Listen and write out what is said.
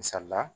Misali la